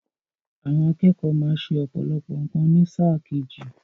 Àwọn akẹ́kọ̀ọ́ má ṣẹ ọ̀pọ̀lọpọ̀ nǹkan ní sáà kejì.